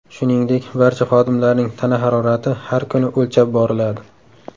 Shuningdek, barcha xodimlarning tana harorati har kuni o‘lchab boriladi.